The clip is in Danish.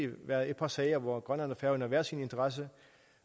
været et par sager hvor grønland og færøerne havde hver sin interesse